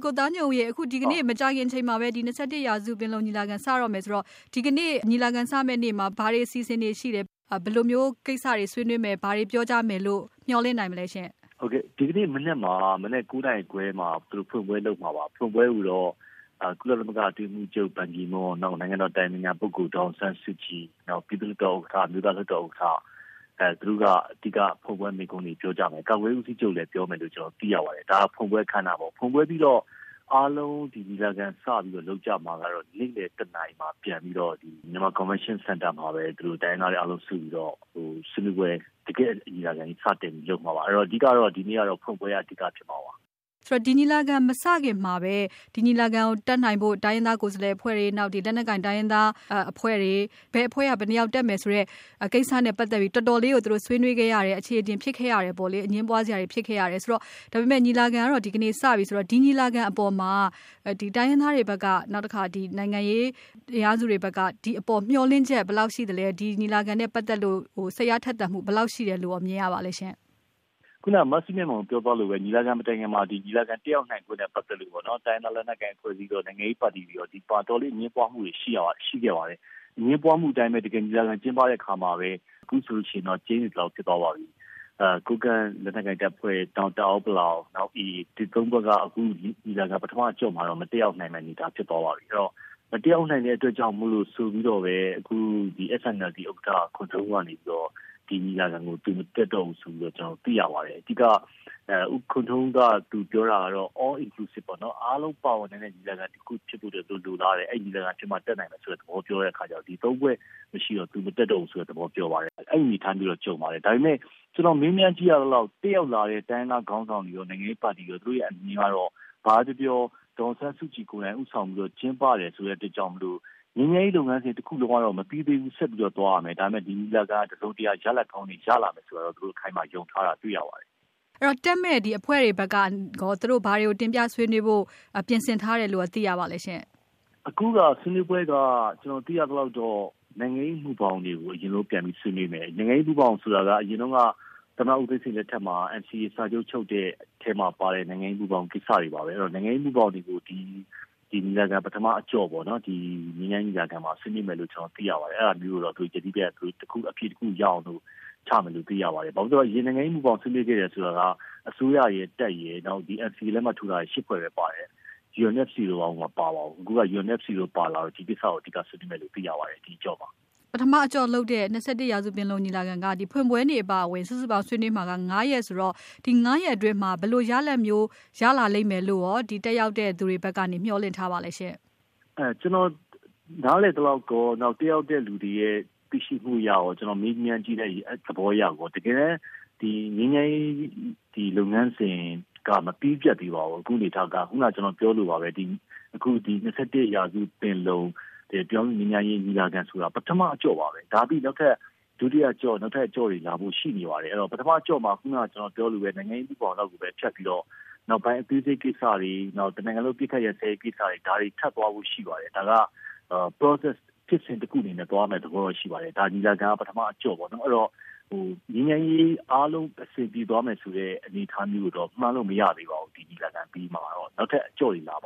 ကိုသားညွန့်ဦးရေ ဒီကနေ့ မကြာခင်အချိန်မှာပဲ ၂၁ ရာစု ပင်လုံညီလာခံ စတော့မယ်ဆိုတော့ ဒီကနေ့ ညီလာခံစမယ့်နေ့မှာ ဘာတွေအစီအစဉ်တွေရှိတယ်၊ ဘယ်လိုမျိုးကိစ္စတွေ ဆွေးနွေးမယ်၊ ဘာတွေပြောကြမယ်လို့ မျှော်လင့်နိုင်မလဲရှင့်။ ဒီကနေ့မနက် ၉ နာရီခွဲမှာ သူတို့ဖွင့်ပွဲလုပ်မှာပါ။ ဖွင့်ပွဲကိုတော့ ကုလသမဂ္ဂ အတွင်းရေးမှူးချုပ် ဘန်ကီမွန်း၊ နောက် နိုင်ငံတော်၏ အတိုင်ပင်ခံပုဂ္ဂိုလ် ဒေါ်အောင်ဆန်းစုကြည်၊ နောက် ပြည်သူ့လွှတ်တော်ဥက္ကဌ၊ အမျိုးသားလွှတ်တော်ဥက္ကဌ သူတို့ကနေ အဓိက ဖွင့်ပွဲမိန့်ခွန်းတွေ ပြောကြမယ်။ ကာကွယ်ရေးဦးစီးချုပ်လည်း ပြောမယ်လို့ ကျနော်တို့ သိရပါတယ်။ ဒါ ဖွင့်ပွဲအခမ်းအနားပေါ့။ ဖွင့်ပွဲပြီးတော့ အားလုံး ညီလာခံစပြီးတော့ လုပ်ကြမှာကတော့ နေ့လည် ၁ နာရီမှာ ပြန်ပြီးတော့ Myanmar Convention Center မှာပဲ တိုင်းရင်းသားတွေအားလုံး စုပြီးတော့ တကယ့် ညီလာခံကြီး စတင်ပြီးတော့ လုပ်မှာပါ။ အဲတော့ အဓိကကတော့ ဒီနေ့ကတော့ ဖွင့်ပွဲက အဓိကဖြစ်မှာပါ။ ဆိုတော့ ဒီညီလာခံမစခင်မှာပဲ ဒီညီလာခံကို တက်နိုင်ဖို့ တိုင်းရင်းသားကိုယ်စားလှယ်အဖွဲ့တွေ၊ လက်နက်ကိုင်တိုင်းရင်းသားအဖွဲ့တွေ၊ ဘယ်အဖွဲ့က ဘယ်နှစ်ယောက်တက်မယ်ဆိုတဲ့ ကိစ္စနဲ့ပတ်သက်ပြီး တော်တော်လေးကို သူတို့ ဆွေးနွေးခဲ့ရတယ်၊ အချေအတင်ဖြစ်ခဲ့ရတယ်ပေါ့လေ။ အငြင်းပွားစရာတွေ ဖြစ်ခဲ့ရတယ်ဆိုတော့ - ညီလာခံကတော့ ဒီကနေ့ စပြီဆိုတော့ ဒီညီလာခံအပေါ်မှာ တိုင်းရင်းသားတွေဘက်က နောက်တခါ နိုင်ငံရေးအင်အားစုတွေဘက်က ဒီအပေါ် မျှော်လင့်ချက် ဘယ်လောက်ရှိသလဲ။ ဒီညီလာခံနဲ့ပတ်သက်လို့ စိတ်အားထက်သန်မှု ဘယ်လောက်ရှိတယ်လို့ရော မြင်ရပါသလဲ။ ခုနက မစုမြတ်မွန် ပြောသွားသလိုပဲ ညီလာခံမတိုင်ခင်မှာ ညီလာခံတက်ရောက်နိုင်ဖို့နဲ့ ပတ်သက်လို့ပေါ့နော် တိုင်းရင်းသား လက်နက်ကိုင် အဖွဲ့အစည်းရော၊ နိုင်ငံရေးပါတီတွေရော ဒီအပေါ် အတော်လေး အငြင်းပွားမှုတွေ ရှိခဲ့ပါတယ်။ အငြင်းပွားမှုအတိုင်းပဲ တကယ်ညီလာခံကျင်းပတဲ့ အခါမှာလည်း အခုဆိုရင်တော့ ကျိန်းသေသလောက် ဖြစ်သွားပါပြီ။ ကိုးကန့်လက်နက်ကိုင်တပ်ဖွဲ့၊ နောက် တအာင်း-ပလောင်၊ နောက် AA ရခိုင့်တပ်မတော် အဲဒီ ၃ ဖွဲ့က အခု ညီလာခံ ပထမအကျော့မှာတော့ မတက်ရောက်နိုင်မယ့် အနေအထား ဖြစ်သွားပါပြီ။ အဲတော့ မတက်ရောက်နိုင်မယ့် အတွက်ကြောင့်မို့လို့ဆိုပြီးတော့ပဲ အခု SNLD ဥက္ကဌ ခွန်ထွန်းဦးကနေပြီးတော့ ဒီညီလာခံကို သူ မတက်တော့ဘူးဆိုပြီးတော့ ကျနော်တို့ သိရပါတယ်။ အဓိက ခွန်ထွန်းဦး ပြောတာကတော့ All Inclusive ပေါ့နော် အားလုံး ပါဝင်နိုင်တဲ့ ညီလာခံတခုဖြစ်ဖို့ သူတို့ လိုလားတယ်။ အဲလိုညီလာခံဖြစ်မှ တက်နိုင်မယ်ဆိုတဲ့သဘော ပြောတဲ့အခါကျတော့ ဒီ ၃ ဖွဲ့ မရှိတော့ သူ မတက်တော့ဘူးဆိုတဲ့သဘော ပြောပါတယ်။ အဲဒီအနေအထားမျိုးတော့ ကြုံပါတယ်။ ဒါပေမဲ့ ကျနော် မေးမြန်းကြည့်ရသလောက် တက်ရောက်လာတဲ့ တိုင်းရင်းသားခေါင်းဆောင်တွေရော၊ နိုင်ငံရေးပါတီတွေရော သူတို့ရဲ့ အမြင်ကတော့ ဘာပဲပြောပြော ဒေါ်အောင်ဆန်းစုကြည်ကိုယ်တိုင် ဦးဆောင်ပြီးတော့ ကျင်းပတယ်ဆိုတဲ့အတွက်ကြောင့် ငြိမ်းချမ်းရေးလုပ်ငန်းစဉ်တခုလုံးကတော့ မပြီးသေးဘူး ဆက်ပြီးတော့ သွားရမယ်။ ဒါပေမဲ့ ဒီညီလာခံက တစုံတရာ ရလဒ်ကောင်းတွေ ရလာလိမ့်မယ်လို့တော့ အခိုင်အမာ ယုံထားတာ တွေ့ရပါတယ်။ အဲတော့ တက်မယ့် ဒီအဖွဲ့တွေဘက်က သူတို့ ဘာတွေကို တင်ပြဆွေးနွေးဖို့ ပြင်ဆင်ထားတယ်လို့ရော သိရပါသလဲရှင့်။ အခုက ဆွေးနွေးပွဲက ကျနော် သိရသလောက်တော့ နိုင်ငံရေးမူဘောင်တွေကို အရင်ဆုံး ပြန်ပြီး ဆွေးနွေးမယ်။ နိုင်ငံရေးမူဘောင်ဆိုတာက အရင်တုန်းက သမ္မတဦးသိန်းစိန်လက်ထက်မှာ NCA စာချုပ်ချုပ်တဲ့ အထဲမှာပါတဲ့ နိုင်ငံရေးမူဘောင်ကိစ္စတွေပါပဲ။ အဲတော့ နိုင်ငံရေးမူဘောင်တွေကို ဒီညီလာခံပထမအကျော့ ငြိမ်းချမ်းရေးညီလာခံမှာ ဆွေးနွေးမယ်လို့ သိရပါတယ်။ အဲဒါမျိုးကိုတော့ သူတို့ ယတိပြတ်အဖြေတခုရအောင်လို့ ချမယ်လို့ သိရပါတယ်။ ဘာဖြစ်လို့လဲဆိုတော့ အရင် နိုင်ငံရေးမူဘောင်ဆွေးနွေးခဲ့တယ်ဆိုတာက အစိုးရရယ်၊ တပ်ရယ်၊ NCA လက်မှတ်ထိုးထားတဲ့ ၈ ဖွဲ့ပဲ ပါတယ်။ UNFC တို့ ဘာတို့ မပါပါဘူး။ အခုက UNFC တို့ ပါလာတော့ ဒီကိစ္စကို အဓိကဆွေးနွေးမယ်လို့ သိရပါတယ် ဒီအကျော့မှာ။ ပထမအကျော့လုပ်တဲ့ ၂၁ ရာစုပင်လုံညီလာခံက ဖွင့်ပွဲနေ့အပါအဝင် စုစုပေါင်း ဆွေးနွေးမှာက ၅ ရက်ဆိုတော့ ဒီ ၅ ရက်အတွင်းမှာ ဘယ်လိုရလဒ်မျိုး ရလာလိမ့်မယ်လို့ တက်ရောက်တဲ့သူတွေဘက်က မျှော်လင့်ထားပါသလဲရှင့်။ ကျနော် နားလည်သလောက်ရော၊ တက်ရောက်တဲ့သူတွေရဲ့ သိရှိမှုအရရော ကျနော် မေးမြန်းကြည့်တဲ့သဘောအရရော တကယ်တမ်း ငြိမ်းချမ်းရေး လုပ်ငန်းစဉ်က မပြီးပြတ်သေးပါဘူး။ အခုအနေအထားက ခုနက ကျနော်ပြောသလိုပါပဲ ၂၁ ရာစုပင်လုံ ပြည်ထောင်စုငြိမ်းချမ်းရေးညီလာခံဆိုတာ ပထမအကျော့ပါပဲ။ ဒါပြီးရင် နောက်ထပ် ဒုတိယအကျော့၊ နောက်ထပ်အကျော့တွေလည်း လာဖို့ ရှိနေပါတယ်။ ပထမအကျော့မှာတော့ ခုနက ကျနော်ပြောသလိုပါပဲ နိုင်ငံရေးမူဘောင်လောက်ကိုပဲ ဖြတ်ပြီးတော့ နောက်ပိုင်းအသေးစိတ်ကိစ္စတွေ နောက်ပြီးတော့ တနိုင်ငံလုံး အပစ်အခတ်ရပ်စဲရေးကိစ္စတွေ ဒါတွေ ထပ်သွားဖို့ရှိပါတယ်။ ဒါက process ဖြစ်စဉ်တခုအနေနဲ့ သွားမယ့်သဘောတော့ ရှိပါတယ်။ ဒီညီလာခံက ပထမအကျော့ပေ့ါနော်။ ငြိမ်းချမ်းရေးအားလုံး အဆင်ပြေသွားမယ်ဆိုတဲ့ အနေအထားမျိုးကိုတော့ မှန်းလို့ မရသေးပါဘူး။ ဒီညီလာခံအပြီးမှာတော့။ နောက်ထပ်အကျော့တွေ လာပါ